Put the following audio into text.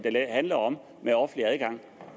handler om offentlig adgang